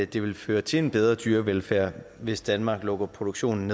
det vil føre til en bedre dyrevelfærd hvis danmark lukker produktionen